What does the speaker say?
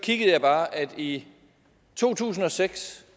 jeg bare at i to tusind og seks